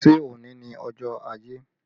Ṣé òní ni ọjọ́ ajé?